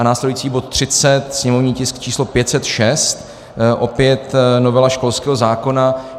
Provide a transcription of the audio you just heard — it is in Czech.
A následující bod 30, sněmovní tisk číslo 506, opět novela školského zákona.